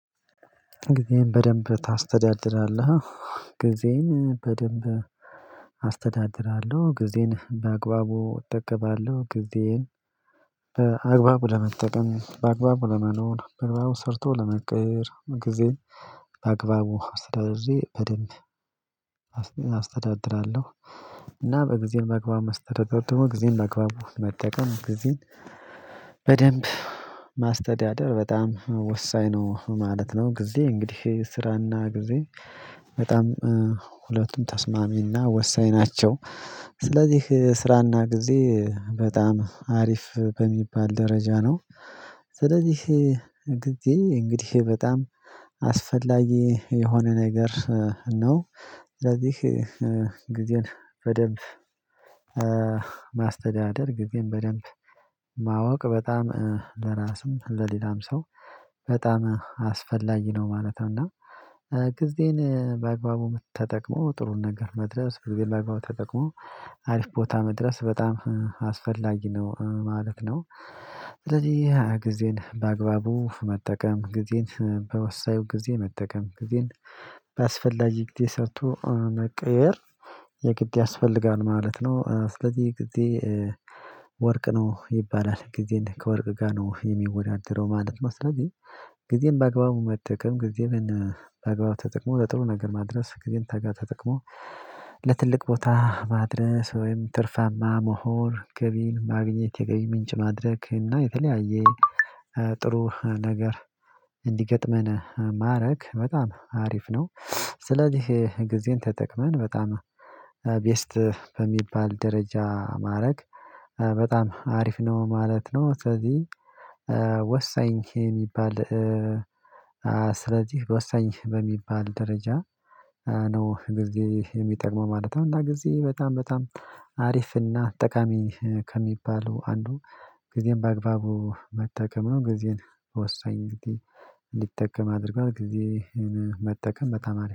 ጊዜን በደንብ ታስተዳድራለህ? ጊዜን በደንብ አስተዳድራለሁ ጊዜን በአግባቡ እጠቀማለሁ። ጊዜን በአግባቡ ለመጠቀም በአግባቡ ለመኖር መግባቡ ሰርቶ ለመቀየር ጊዜ በአግባቡ አስተዳደድዬ በደንብ አስተዳድራለሁ። እና ጊዜ በአግባቡ መስተዳደር ጥሩ አግባቡ መጠቀም በጊዜ ጊዜን በደንብ ማስተዳደር በጣም ወሳኝ ነው ማለት ነው። ጊዜ እንግዲህ ስራና ጊዜ በጣም ሁለቱም ተስማሚና ወሳኝ ናቸው። ስለዚህ ስራና ጊዜ በጣም አሪፍ በሚባል ደረጃ ነው። ስለዚህ ጊዜ እንግዲህ በጣም አስፈላጊ የሆነ ነገር ነው። ስለዚህ ጊዜን በደንብ ማስተዳደር ጊዜን በደንብ ማወቅ በጣም ለራስም ለሌላም ሰው በጣም አስፈላጊ ነው ማለት ነው። እና ጊዜን በአግባቡ ተጠቅሞ ጥሩን ነገር መድረስ በጊዜ በአግባቡ ተጠቅሞ አሪፍ ቦታ መድረስ በጣም አስፈላጊ ነው ማለት ነው። ስለዚህ ጊዜን በአግባቡ መጠቀም ጊዜን በወሳኙ ጊዜ መጠቀም ጊዜን በአስፈላጊ ጊዜ ሰርቶ አነቀየር የግድ ያስፈልጋል ማለት ነው። ስለዚህ ጊዜ ወርቅ ነው ይባላል ጊዜም ከወርቅ ጋር ነው የሚወዳደረው ማለት ነው። ስለዚህ ጊዜም በአግባቡ መጠቀም ጊዜም በነ አግባብ ተጠቅሞ ለጥሩ ነገር ማድረስ ግን ታጋ ተጠቅሞ ለትልቅ ቦታ ማድረስ ወይም ትርፋማ ምሁር ገቢን ማግኘት የገቢ ምንጭ ማድረክ እና የተለያየ ጥሩ ነገር እንዲገጥመን ማድረግ በጣም አሪፍ ነው። ስለዚህ ጊዜን ተጠቅመን በጣም ቤስት በሚባል ደረጃ ማድረግ በጣም አሪፍ ነው ማለት ነው። ስለዚህ ወሳኝ የሚባል ስለዚህ ወሳኝ በሚባል ደረጃ ነው ጊዜ የሚጠቅመው ማለት ነው። እና ጊዜ በጣም በጣም አሪፍና ጠቃሚ ከሚባለው አንዱ ጊዜም በአግባቡ መጠቀም ነው። ጊዜን ወሳኝ ጊዜ ሊጠቀም አድርጓል ጊዜህን መጠቀም በተማሪ